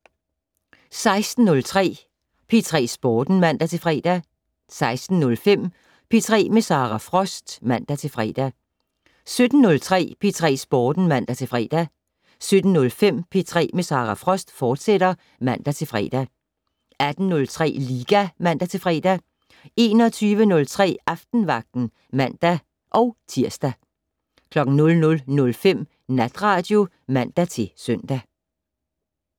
16:03: P3 Sporten (man-fre) 16:05: P3 med Sara Frost (man-fre) 17:03: P3 Sporten (man-fre) 17:05: P3 med Sara Frost, fortsat (man-fre) 18:03: Liga (man-fre) 21:03: Aftenvagten (man-tir) 00:05: Natradio (man-søn)